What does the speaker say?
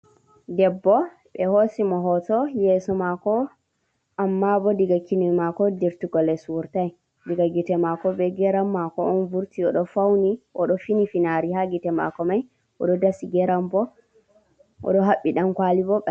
Debbo ɓe hosimo hoto yeso mako. Amma bo daga kine mako dirtigo les wurtai, diga gite mako be geram mako on vurti. Oɗo fauni oɗo fini finari ha gite mako mai, oɗo dasi geram bo oɗo habɓi ɗan kwali bo.